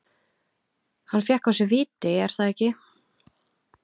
Hann fékk á sig víti, er það ekki?